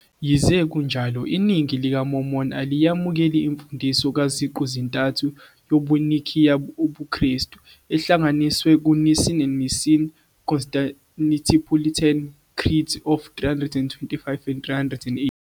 Yize kunjalo, iningi lamaMormon aliyemukeli imfundiso kaZiqu -zintathu yobuNicaea ubuKristu, ehlanganiswe ku-Nicene and Nicene-Constantinopolitan Creeds of 325 and 381.